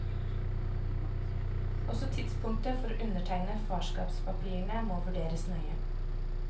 Også tidspunktet for å undertegne farskapspapirene må vurderes nøye.